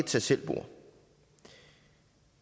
tag selv bord